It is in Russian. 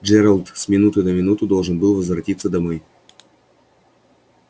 джералд с минуты на минуту должен был возвратиться домой